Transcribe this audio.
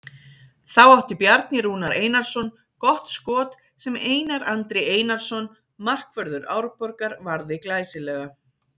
Þá átti Bjarni Rúnar Einarsson gott skot sem Einar Andri Einarsson markvörður Árborgar varði glæsilega.